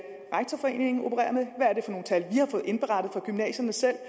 rektorforeningen opererer med hvad er det for nogle tal vi har fået indberettet fra gymnasierne selv